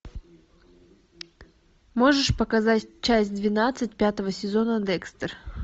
можешь показать часть двенадцать пятого сезона декстер